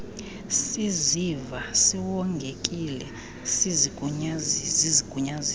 siziva siwongekile sisigunyaziso